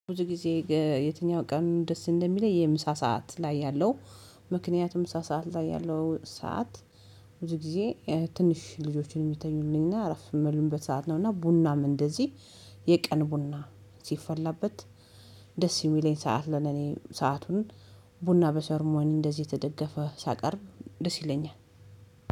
ብዙ ጊዜ የትኛው ቀኑን ደስ እንደሚለኝ የምሳ ሰዓት ላይ ያለው ምክንያቱም ምሳ ሰዓት ላይ ያለው ሰዓት። ብዙ ጊዜ ትንሽ ልጆችን የሚተኙልኝና አረፍ የሚሉበት ሰዓት ነውና። ቡናም እንደዚህ የቀን ቡና ሲፈላበት። ደስ የሚለኝ ሰዓት ለኔ ሰአቱን ቡና በሰርሞኒ እንደዚህ የተደገፈ ሳቀርብ ደስ ይለኛል።